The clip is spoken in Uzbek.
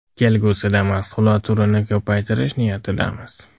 Kelgusida mahsulot turini ko‘paytirish niyatidamiz.